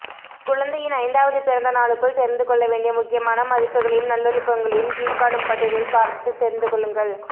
குழந்தையின் ஐந்தாவது பிறந்தநாளுக்குள் தெரிந்துகொள்ள வேண்டிய முக்கியமான மதிப்புகளையும் நல்லொழுக்கங்களையும் கீழ்காணும் பட்டியலில் பார்த்து தெரிந்துகொள்ளுங்கள்